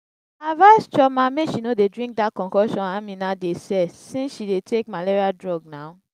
i advise chioma make she no dey drink dat concoction amina dey sell since she dey take malaria drug now